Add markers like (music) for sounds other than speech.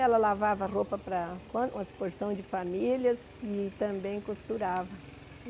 Ela lavava roupa para (unintelligible) uma porção de famílias e também costurava.